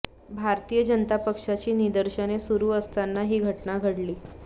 भारतीय जनता पक्षाची निदर्शने सुरू असताना ही घटना घडली